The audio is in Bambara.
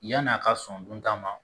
Yan'a ka sɔn duntan ma